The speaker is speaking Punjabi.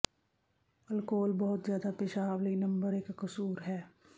ਅਲਕੋਹਲ ਬਹੁਤ ਜ਼ਿਆਦਾ ਪੇਸ਼ਾਬ ਲਈ ਨੰਬਰ ਇਕ ਕਸੂਰ ਹੈ